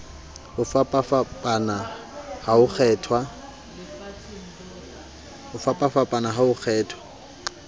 ho fapafapana ha ho kgethwa